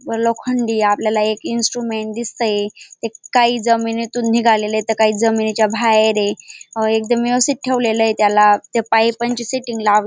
लोखंडी आपल्याला एक इन्स्ट्रुमेंट दिसतंय ते एक काही जमिनीतून निघालेलय तर काही जमिनीच्या बाहेर ये एकदम व्यवस्तिथ ठेवलेलय त्याला त्या पायपांची सेटिंग लाव--